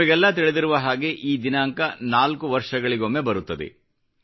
ನಿಮಗೆಲ್ಲ ತಿಳಿದಿರುವ ಹಾಗೆ ಈ ದಿನಾಂಕ ನಾಲ್ಕು ವರ್ಷಗಳಿಗೊಮ್ಮೆ ಬರುತ್ತದೆ